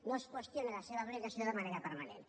no es qüestioni la seva aplicació de manera permanent